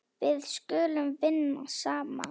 Við skulum vinna saman.